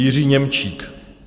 Jiří Němčík.